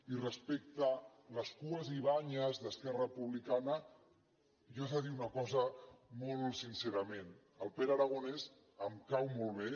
i respecte a les cues i banyes d’esquerra republicana jo he de dir una cosa molt sincerament el pere aragonès em cau molt bé